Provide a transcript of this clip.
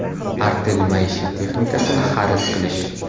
Artel maishiy texnikasini xarid qilish!